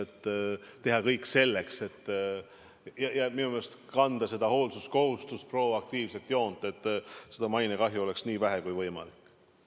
Tuleks teha kõik selleks ja täita seda hoolsuskohustust, hoida proaktiivset joont, et mainekahju oleks nii vähe kui võimalik.